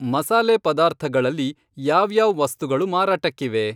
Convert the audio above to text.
ಮಸಾಲೆ ಪದಾರ್ಥಗಳಲ್ಲಿ ಯಾವ್ಯಾವ್ ವಸ್ತುಗಳು ಮಾರಾಟಕ್ಕಿವೆ?